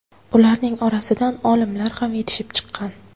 Ularning orasidan olimalar ham yetishib chiqqan.